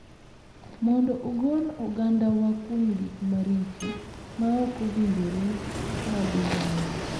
Mondo ogol ogandawa kuom gik maricho ma ok owinjore mag oganda.